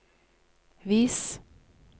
vis